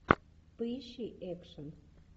поищи экшн